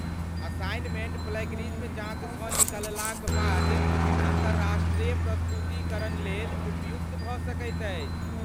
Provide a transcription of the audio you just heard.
Assignment plagiarism जाँचसँ निकललाक बाद अन्तर्राष्ट्रीय प्रस्तुतीकरणलेल उपयुक्त भऽ सकैत अछि।